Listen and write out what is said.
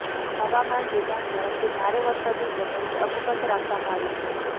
હવામાન વિભાગ તરફથી ભારે વરસાદની ચેતવણી અકબંધ રાખવામાં આવી છે